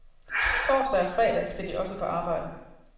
Torsdag og fredag skal de også på arbejde.